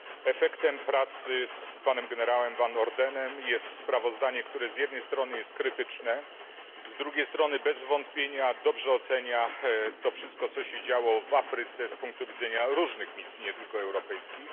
Efektem pracy z generałem Van Ordenem jest sprawozdanie, które z jednej strony jest krytyczne, a z drugiej strony bez wątpienia dobrze ocenia to wszystko, co się działo w Afryce z punktu widzenia różnych misji, nie tylko europejskich.